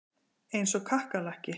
Eins og kakkalakki.